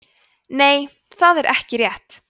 nei það er ekki rétt